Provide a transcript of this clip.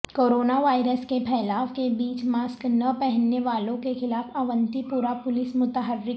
corona virus کے پھیلائو کے بیچ ماسک نہ پہننے والوں کیخلاف اونتی پورہ پولیس متحرک